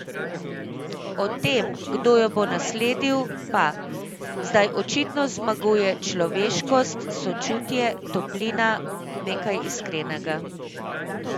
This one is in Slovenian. O tem, kdo jo bo nasledil, pa: "Zdaj očitno zmagujejo človeškost, sočutje, toplina, nekaj iskrenega.